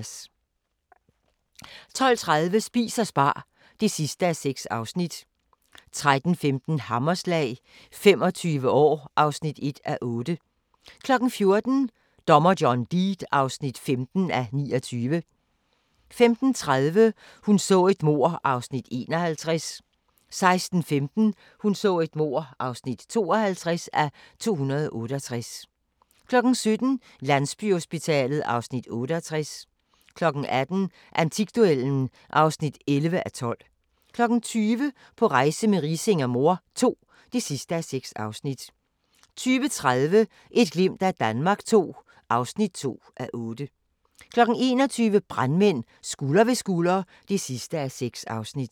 12:30: Spis og spar (6:6) 13:15: Hammerslag – 25 år (1:8) 14:00: Dommer John Deed (15:29) 15:30: Hun så et mord (51:268) 16:15: Hun så et mord (52:268) 17:00: Landsbyhospitalet (Afs. 68) 18:00: Antikduellen (11:12) 20:00: På rejse med Riising og mor II (6:6) 20:30: Et glimt af Danmark II (2:8) 21:00: Brandmænd – Skulder ved skulder (6:6)